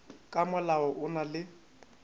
ka molao o na le